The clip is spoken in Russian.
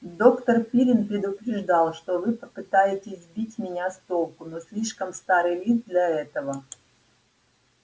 доктор пиренн предупреждал что вы попытаетесь сбить меня с толку но слишком старый лис для этого